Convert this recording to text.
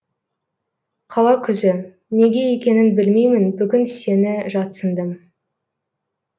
қала күзі неге екенін білмеймін бүгін сені жатсындым